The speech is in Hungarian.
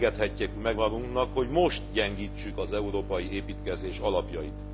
Nem engedhetjük meg magunknak, hogy most gyengítsük az európai építkezés alapjait.